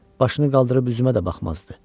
Başını qaldırıb üzümə də baxmazdı.